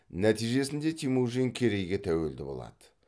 нәтижесінде темүжин керейге тәуелді болады